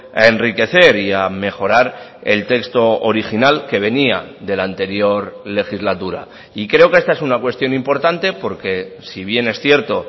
a enriquecer y a mejorar el texto original que venía de la anterior legislatura y creo que esta es una cuestión importante porque si bien es cierto